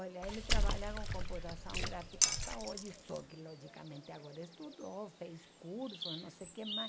Olha, ele trabalha com computação gráfica até hoje, só que logicamente agora estudou, fez curso, não sei o que mais.